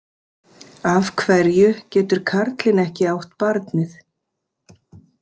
Af hverju getur karlinn ekki átt barnið?